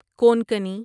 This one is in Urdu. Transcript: کونکنی